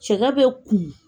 Cɛkɛ bɛ kumun.